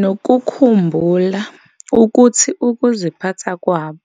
Nokukhumbula ukuthi ukuziphatha kwabo